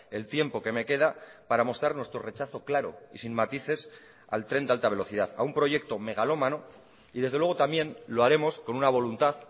el tiempo que me queda para mostrar nuestro rechazo claro y sin matices al tren de alta velocidad a un proyecto megalómano y desde luego también lo haremos con una voluntad